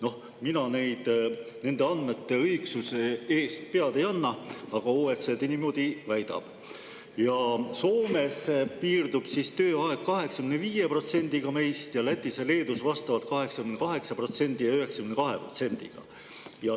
Noh, mina nende andmete õigsuse eest pead ei anna, aga OECD niimoodi väidab, ja Soomes piirdub tööaeg 85%-ga sellest ning Lätis ja Leedus vastavalt 88% ja 92%-ga.